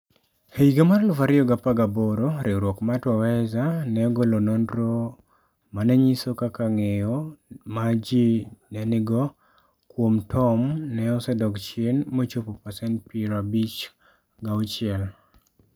E higa mar 2018, riwruok mar Twaweza ne ogolo nonro ma ne nyiso kaka ng'eyo ma ji ne nigo kuom Tom ne osedok chien mochopo pasent 56.